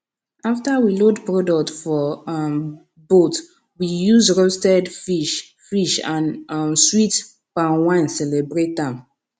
after we load product for um boat we use roastes fish fish and um sweet palm wine celebrate am